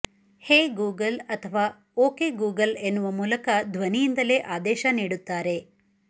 ಹೇ Google ಅಥವಾ okay Google ಎನ್ನುವ ಮೂಲಕ ಧ್ವನಿಯಿಂದಲೇ ಆದೇಶ ನೀಡುತ್ತಾರೆ